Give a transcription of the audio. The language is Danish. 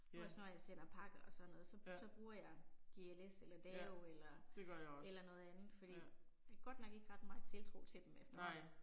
Ja. Ja. Ja, det gør jeg også, ja. Nej